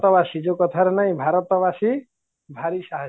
ବାସି ଯୋଉଁକଥାରେ ନାହିଁ ଭାରତ ବାସି ଭାରି ସାହସୀ